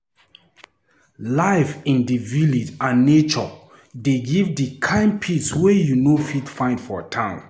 Life in di village and nature dey give di kind peace wey you no fit find for town.